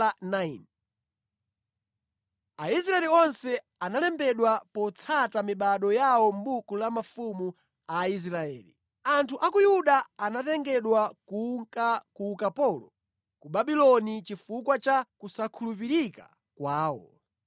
Aisraeli onse analembedwa potsata mibado yawo mʼbuku la mafumu a Aisraeli. Anthu a ku Yerusalemu Anthu a ku Yuda anatengedwa kunka ku ukapolo ku Babuloni chifukwa cha kusakhulupirika kwawo.